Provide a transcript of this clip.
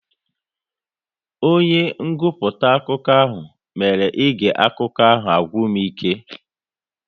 Onye nguputa akụkọ ahụ mere ige akụkọ ahụ ọ gwụ m ike